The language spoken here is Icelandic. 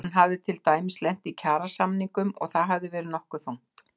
Hún hafi til dæmis lent í kjarasamningum og það hafi verið nokkuð þungt.